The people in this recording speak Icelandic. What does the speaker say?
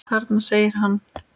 Þarna! segir hann.